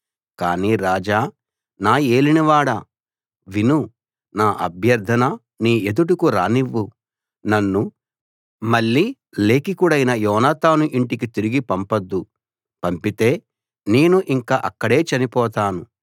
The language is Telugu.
కాని రాజా నా యేలినవాడా విను నా అభ్యర్ధన నీ ఎదుటకు రానివ్వు నన్ను మళ్ళీ లేఖికుడైన యోనాతాను ఇంటికి తిరిగి పంపొద్దు పంపితే నేను ఇంక అక్కడే చనిపోతాను